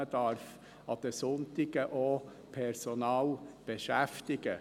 Man darf an den Sonntagen Personal beschäftigen.